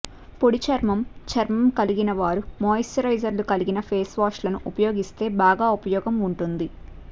పొడి చర్మం చర్మం కలిగిన వారు మాయిశ్చరైజర్ లు కలిగిన ఫేస్ వాష్ లను ఉపయోగిస్తే బాగా ఉపయోగం ఉంటుంది